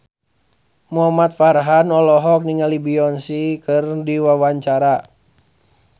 Muhamad Farhan olohok ningali Beyonce keur diwawancara